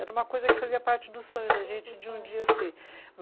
Era uma coisa que fazia parte do sonho da gente de um dia ser.